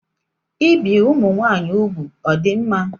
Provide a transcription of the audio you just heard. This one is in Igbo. Ibi ụmụnwaanyị ugwu ọ dị mma?